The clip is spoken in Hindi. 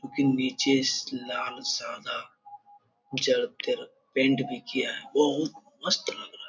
क्योंकि नीचे लाल सादा पेंट भी किया है बहुत मस्त लग रहा है।